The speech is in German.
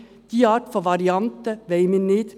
Diese Art von Variante wollen wir nicht.